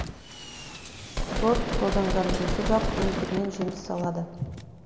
сорт тозаңдандырусыз ақ өздігінен жеміс салады